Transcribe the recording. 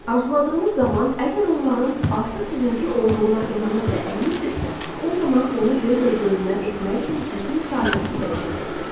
Arzuladığınız zaman əgər onların artıq sizinki olduğuna inanır və əminsinizsə, o zaman onu gözlə görünən etmək üçün bütün kainatı dəyişəcəkdir.